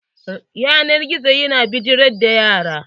Yanar gizo ya na bijirar da yara.